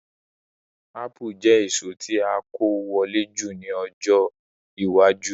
Ápù yóò jẹ èso tí a kó wọlé jùlọ ní ọjọ́ iwájú